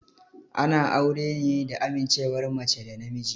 Ana aure ne da amincewar mace da namiji.